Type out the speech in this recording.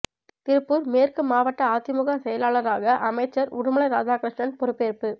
திருப்பூா் மேற்கு மாவட்ட அதிமுக செயலாளராக அமைச்சா் உடுமலை ராதாகிருஷ்ணன் பொறுப்பேற்பு